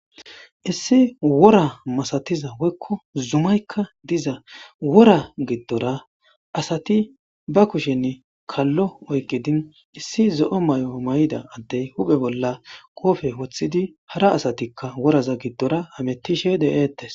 Issi wora masatiza woyko zumayka dizawora giddora asati ba kushen kalo oykidi issi zo'o mayo mayida adey huphe bolla qobe wothid hara asatika hametishe betetes